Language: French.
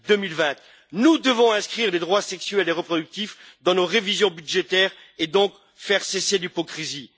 2020. Nous devons inscrire les droits sexuels et reproductifs dans nos prévisions budgétaires et donc faire cesser l'hypocrisie.